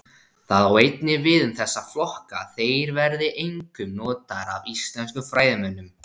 Það á einnig við um þessa flokka að þeir verða einkum notaðir af íslenskum fræðimönnum.